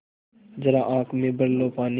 ज़रा आँख में भर लो पानी